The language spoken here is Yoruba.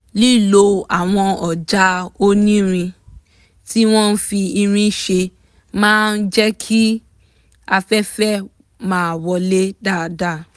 lílo àwọn ọ̀já onírin tí wọ́n fi irin ṣe máa ń jẹ́ kí afẹ́fẹ́ máa wọlé dáadáa